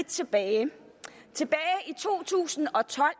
tilbage i to tusind og tolv